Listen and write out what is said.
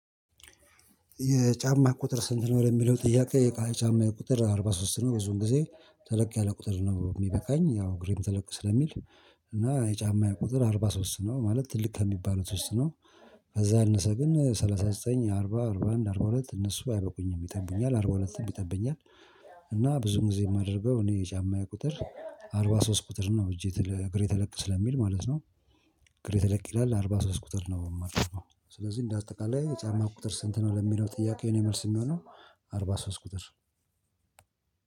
የጫማ ቁጥር ስንት ነው? ለሚለው ጥያቄ የቃል ጫማዬ ቁጥር አርባ ሶስት ነው ብዙውን ጊዜ ተለቅ ያለ ቁጥር ነው የሚበቃኝ ያው እግሬም ተለቅ ስለሚል እና የጫማዬ የቁጥር አርባ ሶስት ነው ማለት ትልቅ ከሚባሉት ውስጥ ነው። ከዛ ያነሰ ግን ሰላሳ ዘጠኝ አርባ አርባ አንድ አርባ ሁለት እነሱ አይበቁኝም እንትን ይለኛል አርባ ሁለትም ይጠብኛል። እና ብዙ ጊዜ የማደርገው እኔ የጫማዬ የቁጥር አርባ ሶስት ቁጥር ነው እጄ እግሬ ተለቅ ስለሚል ማለት ነው። እግሬ ተለቅ ይላል አርባ ሶስት ቁጥር ነው የማረገው። ስለዚህ እንደ አጠቀላይ የጫማ ቁጥር ስንት ነው? ለሚለው ጥያቄው የኔ መልስ የሚሆነው አርባ ሶስት ቁጥር።